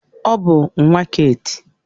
Ọ bụ nwa Keeti.